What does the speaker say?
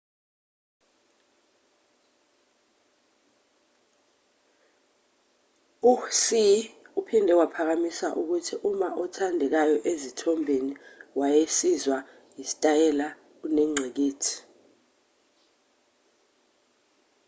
u-hsieh uphinde waphikisa ukuthi uma othandekayo ezithombeni wayesizwa yisitayela kunengqikithi